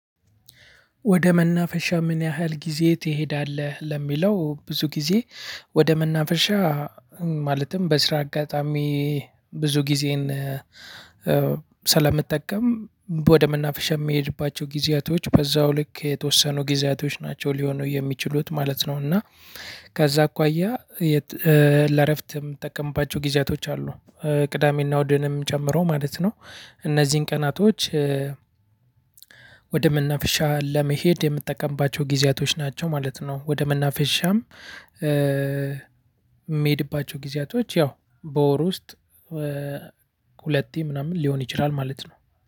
ወደ መናፈሻ ምን ያህል ጊዜ ትሄዳለህ? ለሚለው ብዙ ጊዜ ወደ መናፈሻ ማለትም በስራ አጋጣሚ ብዙ ጊዜዬን ስለምጠቀም ወደ መናፍሻ የሚሄድባቸው ጊዜያቶች በዛው ልክ የተወሰኑ ጊዜያቶች ናቸው ሊሆኑ የሚችሉት ማለት ነው እና ከዛ አኳያ ለእረፍት የምጠቀምባቸው ጊዜያቶች አሉ። ቅዳሜና እሁድንም ጨምሮ ማለት ነው። እነዚህን ቀናቶች ወደ መናፈሻ ለመሄድ የምጠቀምባቸው ጊዜያቶች ናቸው ማለት ነው። ወደ መናፍሻም የምሄድባቸው ጊዜያቶች ያው በወር ውስጥ ሁለቴ ምናምን ሊሆን ይችላል ማለት ነው።